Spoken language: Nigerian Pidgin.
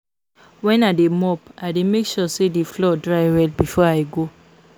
Wen I dey mop I dey make sure the floor dry well before I go